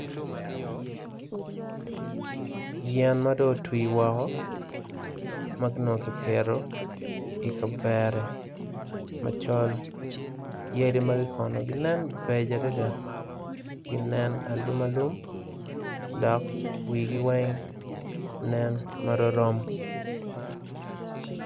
Yen ma dong otwi woko ma onongo kipito i kavere macol yadi magi kono ginen beco adada ginen alum alum dok wigi weng nen ma romrom